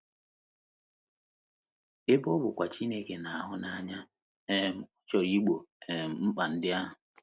Ebe ọ bụkwa Chineke na - ahụ n’anya, um ọ chọrọ Igbo um mkpa ndị ahụ.